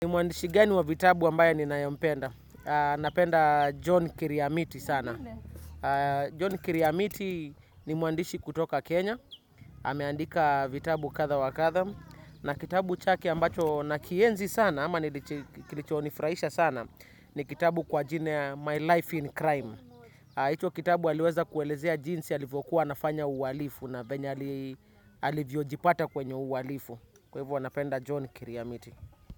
Ni mwandishi gani wa vitabu ambaye ninayempenda. Napenda John Kiriamiti sana. John Kiriamiti ni muandishi kutoka Kenya. Ameandika vitabu kadha wa kadha. Na kitabu chake ambacho nakienzi sana ama kilichonifurahisha sana ni kitabu kwa jina My Life in Crime. Hicho kitabu aliweza kuelezea jinsi alivyokuwa anafanya uhalifu na vyenye alivyojipata kwenye uhalifu. Kwa hivyo napenda John Kiriamiti.